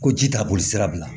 Ko ji t'a boli sira bila